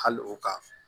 Hali o ka